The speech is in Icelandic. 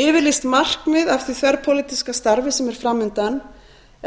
yfirlýst markmið af því þverpólitíska starfi sem er fram undan